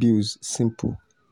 bills simple.